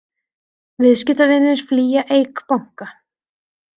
Viðskiptavinir flýja Eik banka